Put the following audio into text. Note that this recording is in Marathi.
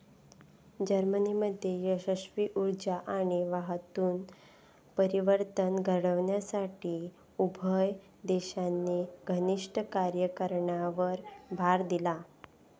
जर्मनीमध्ये यशस्वी ऊर्जा आणि वाहतूक परिवर्तन घडवण्यासाठी उभय देशांनी घनिष्ट कार्य करण्यावर भर दिला